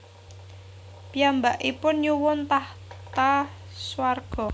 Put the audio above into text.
Piyambakipun nyuwun tahta swarga